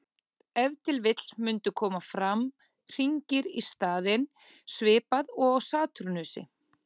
Ef til vill mundu koma fram hringir í staðinn, svipað og á Satúrnusi.